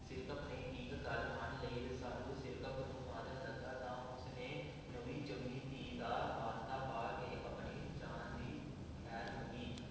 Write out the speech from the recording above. ਸਿਰਕੱਪ ਨੇ ਇਹ ਗੱਲ ਮੰਨ ਲਈ। ਰਸਾਲੂ ਸਿਰਕੱਪ ਨੂੰ ਮਾਰਨ ਲੱਗਾ ਤਾਂ ਉਸ ਨੇ ਨਵੀਂ ਜੰਮੀ ਧੀ ਦਾ ਵਾਸਤਾ ਪਾ ਕੇ ਆਪਣੀ ਜਾਨ ਦੀ ਖ਼ੈਰ ਮੰਗੀ।